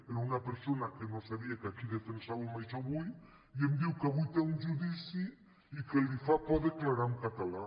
era d’una persona que no sabia que aquí defensàvem ai·xò avui i em diu que avui té un judici i que li fa por de·clarar en català